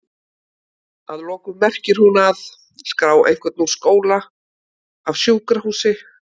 Að lokum merkir hún að?skrá einhvern úr skóla, af sjúkrahúsi?